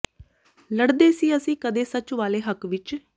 ਲੜ ਦੇ ਸੀ ਅੱਸੀ ਕਦੇ ਸੱਚ ਵਾਲੇ ਹੱਕ ਵਿਚ